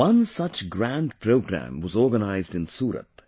One such grand program was organized in Surat